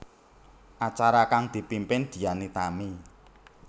Acara kang dipimpin Dian Nitami